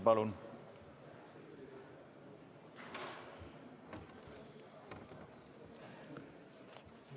Palun!